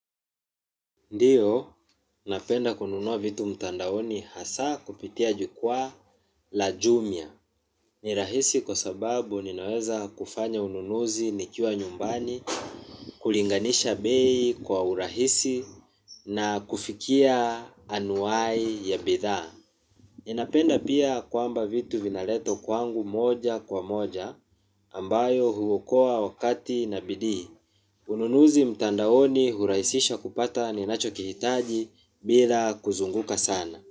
Ndiyo, napenda kununua vitu mtandaoni hasa kupitia jukwa la jumia. Ni rahisi kwa sababu ninaweza kufanya ununuzi nikiwa nyumbani, kulinganisha bei kwa urahisi na kufikia anuai ya bidhaa. Ninapenda pia kwamba vitu vinaletwa kwangu moja kwa moja, ambayo huokoa wakati na bidii. Ununuzi mtandaoni hurahisisha kupata ninachokijitaji bila kuzunguka sana.